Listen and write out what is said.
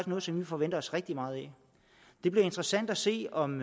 noget som vi forventer os rigtig meget af det bliver interessant at se om